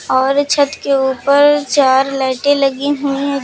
और छत के ऊपर चार लाइटें लगी हुई हैं।